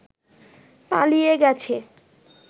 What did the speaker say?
পালিয়ে গেছে